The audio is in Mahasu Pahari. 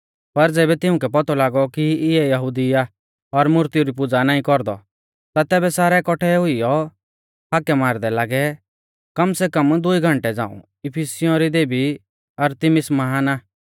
पर ज़ैबै तिउंकै पौतौ लागौ कि इयौ यहुदी आ और मुर्तिऊ री पुज़ा नाईं कौरदौ ता सारै कौट्ठै हुइयौ हाकै मारदै लागै कम सै कम दुई घंटै झ़ांऊ इफिसियों री देबी अरतिमिस महान आ